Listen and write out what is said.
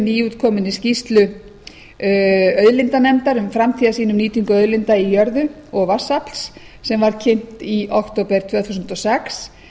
nýútkominni skýrslu framtíðarsýn um nýtingu auðlinda í jörðu og vatnsafls sem kynnt var í október tvö þúsund og sex